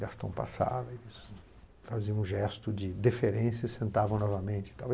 Gastão passava, eles faziam um gesto de deferência e sentavam novamente e tal.